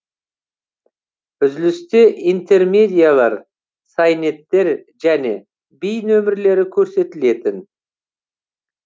үзілісте интермедиялар сайнеттер және би нөмірлері көрсетілетін